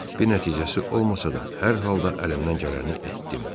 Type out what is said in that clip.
Bir nəticəsi olmasa da, hər halda əlimdən gələni etdim.